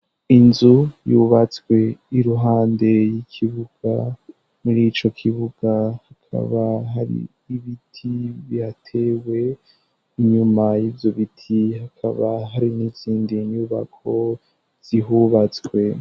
Inzu yubatswe iruhande y'ikibuga, muri ico kibuga hakaba hari ibiti bihatewe, inyuma y'ivyo biti hakaba hari n'izindi nyubako zihubatswe.